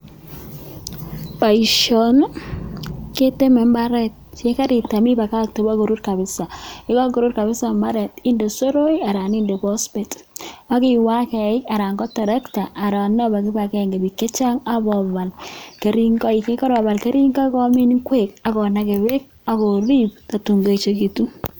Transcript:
Boishoni keteme imbaret yekeitem ibakakte bokorur kabisaa, yekokorur kabisa mbaret indee soroek alaan indee pospet ak iwee ak eiik alaan ko terekta alaan obee kibakeng'e biik chechang abobal kering'oik, yekarobal kering'oik inakee beek ak koriib totun koechekitun.